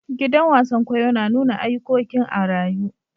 Gidan wasan kwaikwayo na nuna ayukokin a'rayu.